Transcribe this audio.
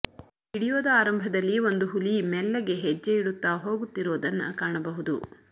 ವಿಡಿಯೋದ ಆರಂಭದಲ್ಲಿ ಒಂದು ಹುಲಿ ಮೆಲ್ಲಗೆ ಹೆಜ್ಜೆ ಇಡುತ್ತಾ ಹೋಗುತ್ತಿರೋದನ್ನ ಕಾಣಬಹುದು